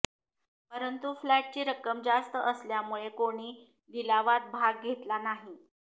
परंतु फ्लॅटची रक्कम जास्त असल्यामुळे कोणी लिलावात भाग घेतला नाही